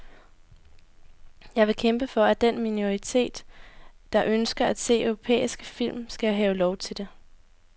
Jeg vil kæmpe for, at den minoritet, der ønsker at se europæiske film, skal have lov til det.